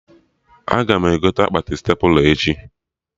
Aga m egote akpati stepla echi